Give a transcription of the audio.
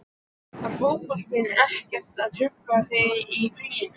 Var fótboltinn ekkert að trufla þig þá í fríinu?